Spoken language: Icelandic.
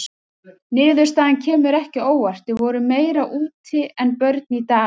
Niðurstaðan kemur ekki á óvart: við vorum meira úti en börn í dag.